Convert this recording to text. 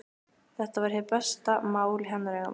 Þetta var hið besta mál í hennar augum.